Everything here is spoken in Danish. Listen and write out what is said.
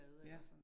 Ja